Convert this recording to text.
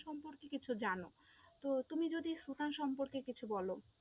সম্পর্কে কিছু জানো, তো তুমি যদি সুথানা সম্পর্কে কিছু বলো,